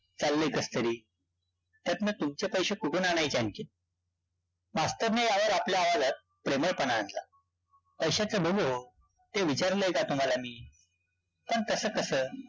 चाललंय कसतरी. त्यातनं तुमचे पैशे कुठून आणायचे आणखी. मास्तरने यावर आपल्या आवाजात, प्रेमळपणा आणला. पैश्याच बघू. ते विचारलाय का तुम्हाला मी? पण तस कस?